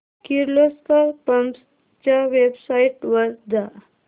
Kirloskar pumps च्या website वर जा